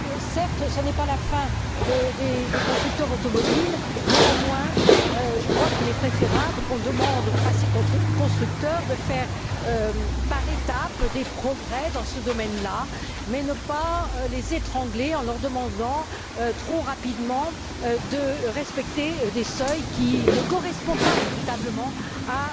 Certes, ce n'est pas la fin des constructeurs automobiles, néanmoins, je crois qu'il est préférable qu'on demande à ces constructeurs de faire, par étapes, des progrès dans ce domaine là, mais sans les étrangler en leur demandant, trop rapidement, de respecter des seuils qui ne correspondent pas véritablement à